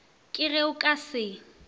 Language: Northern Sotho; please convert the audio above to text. ke ge o ka se